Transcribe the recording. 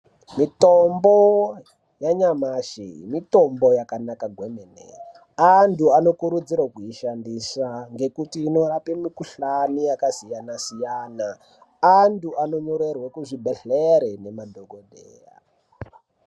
Mitombo yanyamashi mitombo yakanaka kwemene neantu anokurudzirwe kuishandisa ngekuti inorape mikohlani yakasiyana siyana. Antu anondorairwe kuzvibhedhleya nemadhokodheya.